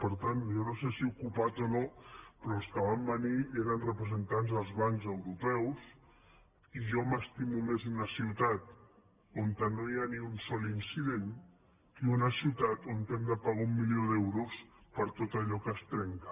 per tant jo no sé si ocupat o no però els que van venir eren representants del bancs europeus i jo m’estimo més una ciutat on no hi ha ni un sol incident que una ciutat on hem de pagar un milió d’euros per tot allò que es trenca